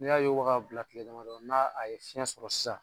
N'i y'a yoba k'a bila tile damadɔ n'a a ye fiɲɛ sɔrɔ sisan